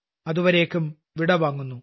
അതുവരേക്കും വിട വാങ്ങുന്നു